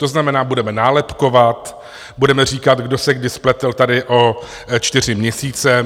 To znamená, budeme nálepkovat, budeme říkat, kdo se kdy spletl tady o čtyři měsíce.